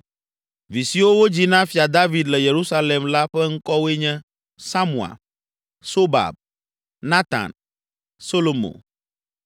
Vi siwo wodzi na Fia David le Yerusalem la ƒe ŋkɔwoe nye: Samua, Sobab, Natan, Solomo,